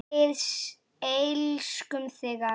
Við elskum þig afi!